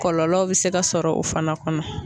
Kɔlɔlɔ bɛ se ka sɔrɔ o fana kɔnɔ.